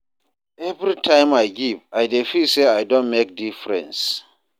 Every time I give, I dey feel say I don make difference.